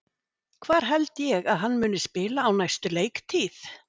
Hvar held ég að hann muni spila á næstu leiktíð?